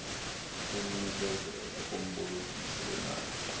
kulinikezela kumbolekisi weemali